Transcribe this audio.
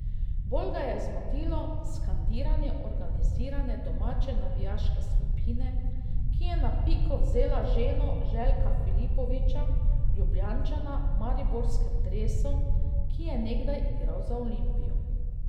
Bolj ga je zmotilo skandiranje organizirane domače navijaške skupine, ki je na piko vzela ženo Željka Filipovića, Ljubljančana v mariborskem dresu, ki je nekdaj igral za Olimpijo.